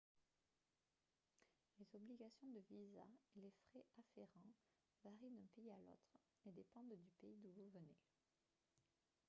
les obligations de visa et les frais afférents varient d'un pays à l'autre et dépendent du pays d'où vous venez